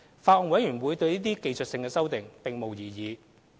法案委員會對這些技術性修訂並無異議。